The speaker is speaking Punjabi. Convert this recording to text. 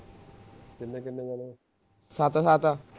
ਸੱਤ ਸੱਤ